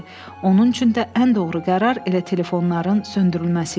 Onun üçün də ən doğru qərar elə telefonların söndürülməsi idi.